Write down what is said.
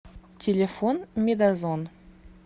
телефон медозон